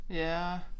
Ja